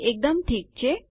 તે એકદમ ઠીક છે